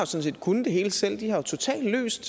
set kunnet det hele selv de har totalt løst